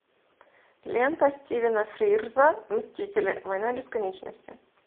лента стивена фрирза мстители война бесконечности